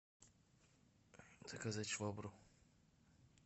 заказать швабру